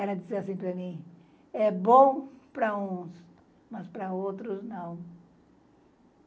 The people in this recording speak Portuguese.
Ela dizia assim para mim: é bom para uns, mas para outros não.